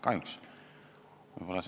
Kahjuks.